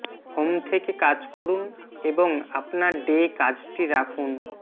home থেকে কাজ করুন এবং আপনার ডে কাজটি রাখুন